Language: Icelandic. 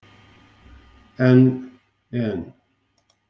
En. en.